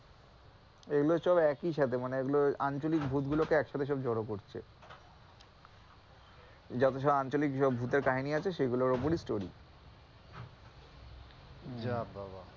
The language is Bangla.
এগুলো সব একইসাথে, মানে এগুলো আঞ্চলিক ভূতগুলোকে একসাথে সব জড়ো করছে, যত সব আঞ্চলিক ভূতের কাহিনী আছে সেগুলোর ওপড়েই story যা বাবা!